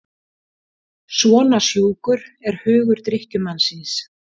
Svona sjúkur er hugur drykkjumannsins.